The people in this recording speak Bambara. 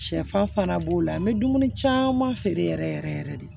Sɛfan fana b'o la n bɛ dumuni caman feere yɛrɛ yɛrɛ de